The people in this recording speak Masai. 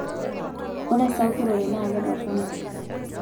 Ore esakutore na kitorono